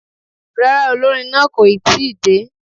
Rárá, olórin náà kò ì tí ì dé.